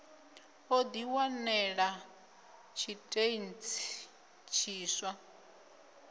o di wanela tshitentsi tshiswa